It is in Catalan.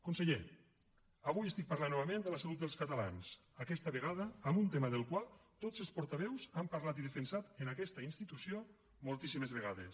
conseller avui estic parlant novament de la salut dels catalans aquesta vegada amb un tema del qual tots els portaveus han parlat i defensat en aquesta institució moltíssimes vegades